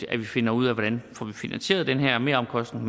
at vi finder ud af hvordan vi får finansieret den her meromkostning